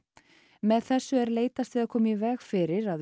með þessu er leitast við að koma í veg fyrir að